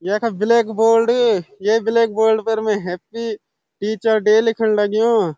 यखा black bold येक black bold फर मै हैप्पी टीचर डे लिखण लग्युं।